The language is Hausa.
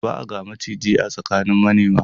Ba a ga maciji a tsakanin manema.